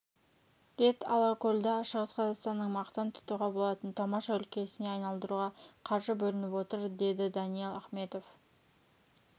рет алакөлді шығыс қазақстанның мақтан тұтуға болатын тамаша өлкесіне айналдыруға қаржы бөлініп отыр дедіданиал ахметов